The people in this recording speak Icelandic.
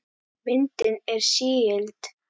Myndin er sígild.